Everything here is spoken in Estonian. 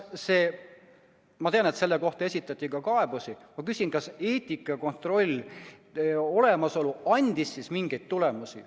Ma tean, et selle kohta esitati ka kaebusi, aga ma küsin, kas eetikakontrolli olemasolu andis siis mingeid tulemusi.